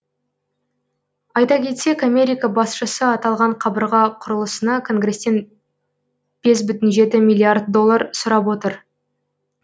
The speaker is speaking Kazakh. айта кетсек америка басшысы аталған қабырға құрылысына конгресстен бес бүтін жеті миллиард доллар сұрап отыр